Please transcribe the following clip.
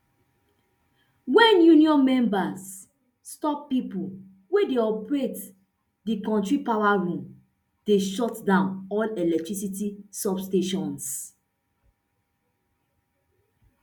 wen union members stop pipo wey dey operate di kontri power room dem shutdown all electricity substations